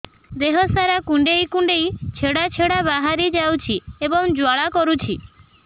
ଦେହ ସାରା କୁଣ୍ଡେଇ କୁଣ୍ଡେଇ ଛେଡ଼ା ଛେଡ଼ା ବାହାରି ଯାଉଛି ଏବଂ ଜ୍ୱାଳା କରୁଛି